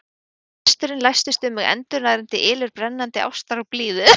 Við lesturinn læstist um mig endurnærandi ylur brennandi ástar og blíðu.